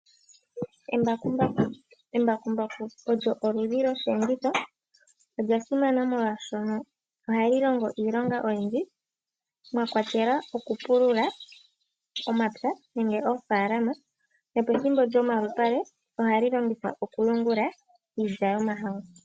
Embakumbaku, embakumbaku olyo oludhi lyosheenditho. Olya simana molwashono ohali longo iilonga oyindji, mwa kwatelwa oku pulula omapya nenge oofaalama. No pethimbo lyo malupale ohali longithwa oku yungula iilya yo mahangu.